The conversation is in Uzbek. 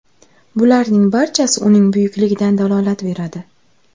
Bularning barchasi uning buyukligidan dalolat beradi.